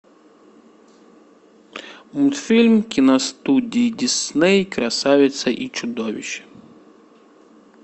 мультфильм киностудии дисней красавица и чудовище